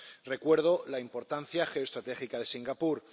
Recuerdo la importancia geoestratégica de Singapur.